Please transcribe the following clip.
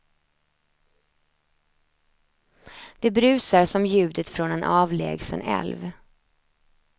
Det brusar som ljudet från en avlägsen älv.